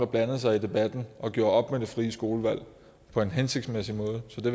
blandede sig i debatten og gjorde op med det frie skolevalg på en hensigtsmæssig måde så det